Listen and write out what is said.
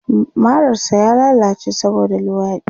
Marar sa ya lallace saboda luwaɗi